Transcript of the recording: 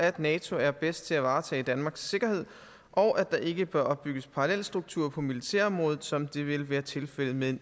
at nato er bedst til at varetage danmarks sikkerhed og at der ikke bør opbygges parallelstrukturer på militærområdet som det vil være tilfældet med